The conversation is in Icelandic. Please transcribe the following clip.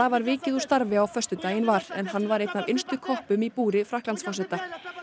var vikið úr starfi á föstudaginn var en hann var einn af innstu koppum í búri Frakklandsforseta